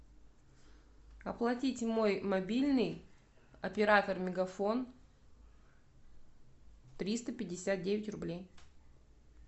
оплатить мой мобильный оператор мегафон триста пятьдесят девять рублей